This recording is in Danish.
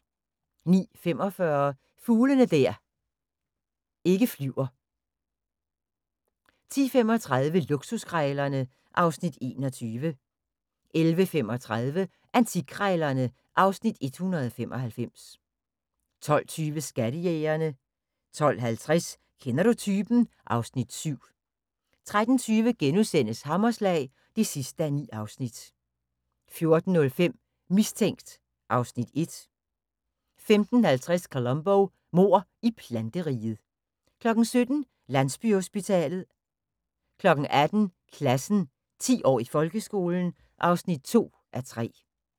09:45: Fugle der ikke flyver 10:35: Luksuskrejlerne (Afs. 21) 11:35: Antikkrejlerne (Afs. 195) 12:20: Skattejægerne 12:50: Kender du typen? (Afs. 7) 13:20: Hammerslag (9:9)* 14:05: Mistænkt (Afs. 1) 15:50: Columbo: Mord i planteriget 17:00: Landsbyhospitalet 18:00: Klassen – 10 år i folkeskolen (2:3)